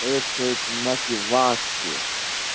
даёт человеку мотивацию